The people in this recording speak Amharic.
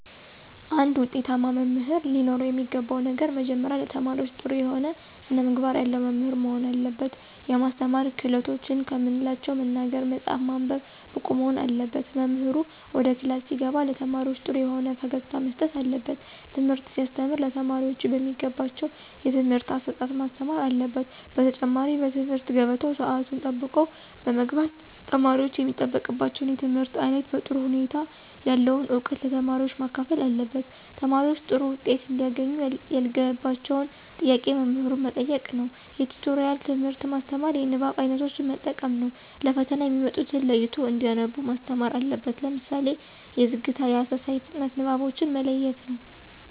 አንድ ውጤታማ መምህር ለኖረው የሚገባው ነገር መጀመሪያ ለተማሪዎች ጥሩ የሆነ ስነምግባር ያለው መምህር መሆን አለበት። የማስተማር ክህሎትን ከምንላቸው መናገር፣ መፃፍ፣ ማንበብ ብቁ መሆን አለበት። መምህሩ ወደ ክላስ ሲገባ ለተማሪዎች ጥሩ የሆነ ፈገግታ መስጠት አለበት። ትምህርት ሲያስተም ለተማሪዎቹ በሚገባቸው የትምህርት አሰጣጥ ማስተማር አለበት። በተጨማሪ በትምህርት ገበታው ሰአቱን ጠብቆ በመግባት ተማሪወች የሚጠበቅባቸውን የትምህርት አይነት በጥሩ ሁኔታ ያለውን እውቀት ለተማሪዎች ማካፈል አለበት። ተማሪዎች ጥሩ ዉጤት እንዲያገኙ ያልገባቸውን ጥያቄ መምህሩ መጠየቅ ነዉ። የቲቶሪያል ትምህርት ማስተማር። የንባብ አይነቶችን መጠቀም ነው። ለፈተና የሚመጡትን ለይቶ እንዲያነቡ ማስተማር አለበት። ለምሳሌ የዝግታ፣ የአሰሳ፣ የፍጥነት ንባቦችን መለየት ነው።